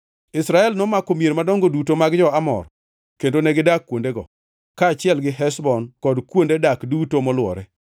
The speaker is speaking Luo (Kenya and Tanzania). Israel nomako mier madongo duto mag jo-Amor kendo negidak kuondego, kaachiel gi Heshbon kod kuonde dak duto molwore.